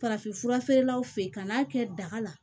Farafinfura feerelaw fe yen ka n'a kɛ daga la